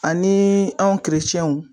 Ani anw